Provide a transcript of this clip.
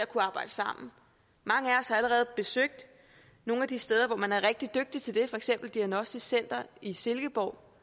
kan arbejde sammen mange af os har allerede besøgt nogle af de steder hvor man er rigtig dygtig til det for eksempel diagnostisk center i silkeborg